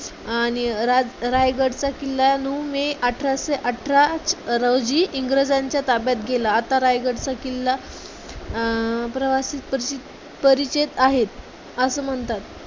आणि राय रायगड चा किल्ला नऊ मे अठराशे अठरा रोजी इंग्रजांच्या ताब्यात गेला. आता रायगडचा किल्ला अं प्रवासी परिचित परीचेत आहेत असे म्हणतात.